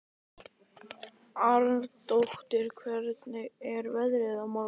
Arndór, hvernig er veðrið á morgun?